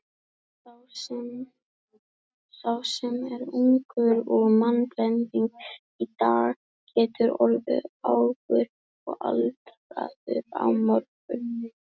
Sá sem er ungur og mannblendinn í dag getur orðið argur og aldraður á morgun.